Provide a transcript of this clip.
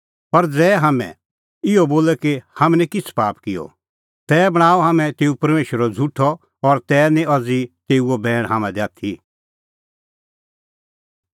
पर ज़ै हाम्हैं इहअ बोले कि हाम्हैं निं किछ़ै पाप किअ तै बणांआ हाम्हैं तेऊ परमेशरा झ़ुठअ और तै निं अज़ी तेऊओ बैण हाम्हां दी आथी